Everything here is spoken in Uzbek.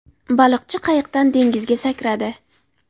Baliqchi qayiqdan dengizga sakradi.